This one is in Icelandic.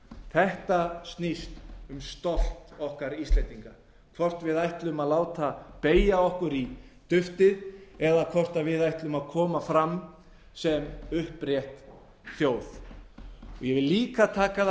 þetta snýst um stolt okkar íslendinga hvort við ætlum að láta beygja okkur í duftið eða hvort við ætlum að koma fram sem upprétt þjóð ég vil líka taka það